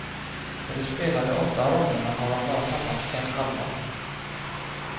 På de spelade åtta ronderna har han bara tappat en halva.